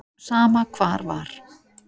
Sama hvar var.